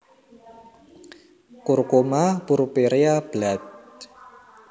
Curcuma purpurea Blatt